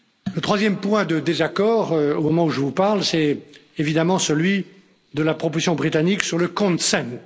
Le troisième point de désaccord, au moment où je vous parle, c'est évidemment celui de la proposition britannique sur le consent